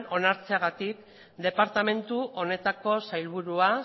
onartzeagatik departamentu honetako sailburua